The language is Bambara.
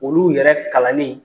Olu yɛrɛ kalannin